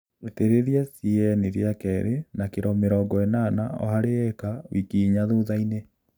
Itĩrĩlia CAN rĩa kelĩ na kilo mĩrongo ĩnana o hali ĩka wiki inya thuthainĩ